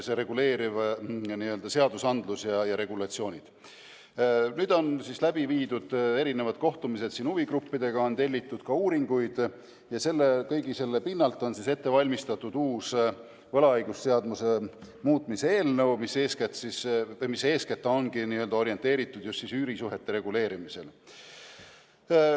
Nüüdseks on läbi viidud kohtumised huvigruppidega ja tellitud uuringuid ning kõige selle põhjal on ette valmistatud uus võlaõigusseaduse muutmise eelnõu, mis ongi orienteeritud eeskätt üürisuhete reguleerimisele.